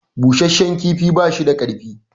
Busheshshen kifi bashi da karni